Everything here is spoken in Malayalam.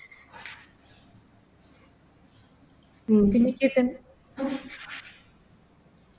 ന്തൊക്കെയുണ്ട് വിശേഷം